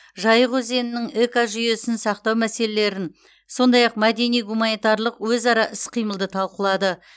жайық өзенінің экожүйесін сақтау мәселелерін сондай ақ мәдени гуманитарлық өзара іс қимылды талқылады